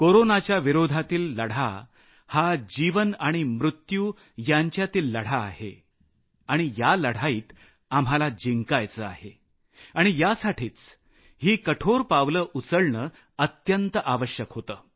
कोरोनाच्या विरोधातील लढा हा जीवन आणि मृत्यु यांच्यातील लढाई आहे आणि या लढाईत आम्हाला जिंकायचं आहे आणि यासाठीच ही कठोर पावलं उचलणं अत्यंत आवश्यक होतं